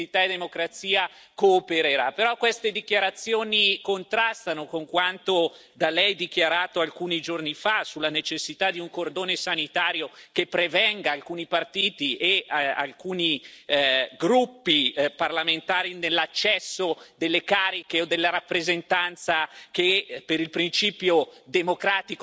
Però queste dichiarazioni contrastano con quanto da Lei dichiarato alcuni giorni fa sulla necessita di un cordone sanitario che impedisca ad alcuni partiti e gruppi parlamentari l'accesso alle cariche o alla rappresentanza cui, per il principio democratico di rappresentatività, avrebbero diritto